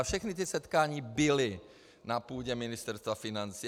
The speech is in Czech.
A všechna ta setkání byly na půdě Ministerstva financí.